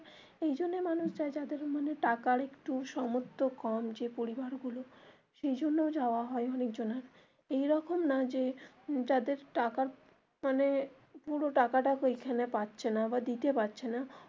মানে মানুষ যায় যাদের মানে টাকার একটু সামর্থ কম যে পরিবার গুলো সেইজন্য যাওয়া হয় অনেকজনের এইরকম না যে যাদের টাকা মানে পুরো টাকা টা ঐখানে পারছে না বা দিতে পারছে না.